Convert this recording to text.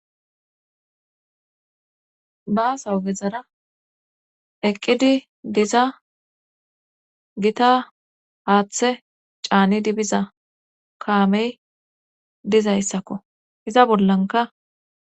Baasawu gezara eqqidi diza gita haaththe caanidi biza kaamey dizayssakko iza bollanka